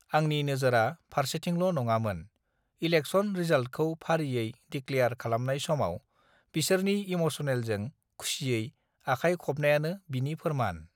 आंनि नोजोरा फार्सथिंल नङामोन इलेकसन रिजालतखौ फारियै डिक्लेयार खालामनाय समाव बिसोरनि इमसनेलजों खुसियै आखाय खबनायानो बिनि फोरमान